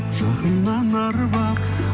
жақыннан арбап